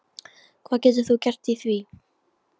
Hvað getur þú gert í því?